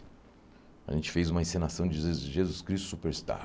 A gente fez uma encenação de je Jesus Cristo Superstar.